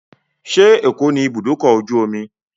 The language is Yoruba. Ṣé Èkó ní ibùdókọ̀-ojú-omi?